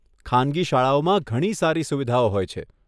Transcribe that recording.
ખાનગી શાળાઓમાં ઘણી સારી સુવિધાઓ હોય છે.